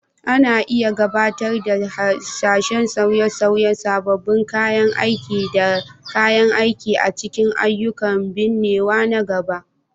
Ana iya gabatar da hasashen sauye-sauye, sabbin kayan aiki da kayan aiki a cikin ayyukan binnewa na gaba